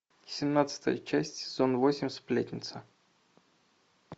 семнадцатая часть сезон восемь сплетница